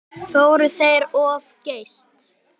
Fóru þeir of geyst?